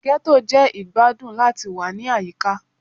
Ghetto jẹ igbadun lati wa ni ayika